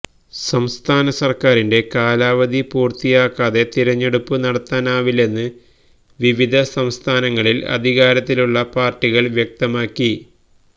സംസ്ഥാനസര്ക്കാരിന്റെ കാലാവധി പൂര്ത്തിയാക്കാതെ തിരഞ്ഞെടുപ്പ് നടത്താനാവില്ലെന്ന് വിവിധ സംസ്ഥാനങ്ങളില് അധികാരത്തിലുള്ള പാര്ട്ടികള് വ്യക്തമാക്കി